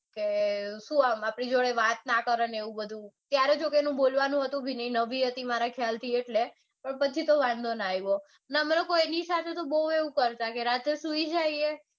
કે શું આમ આપડી જોડે વાત ના કરે ને એવું બધું ત્યારે છોકરી બોલવાનું હતું પણ નઈ નવી હતી મારી ખ્યાલથી એટલે પણ પછી તો વાંધો ના આવ્યો ને એની સાથે તો બૌ એવું રાત્રે એમ